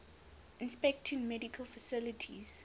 inspecting medical facilities